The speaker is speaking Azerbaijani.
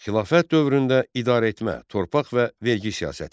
Xilafət dövründə idarəetmə, torpaq və vergi siyasəti.